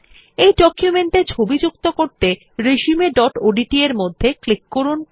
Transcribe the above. এই ডকুমেন্ট এ ছবি যুক্ত করতে resumeওডিটি এর মধ্যে ক্লিক করুন